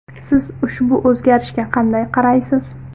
Siz ushbu o‘zgarishga qanday qaraysiz?